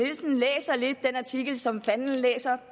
artikel som fanden læser